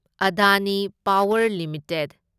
Adani power limited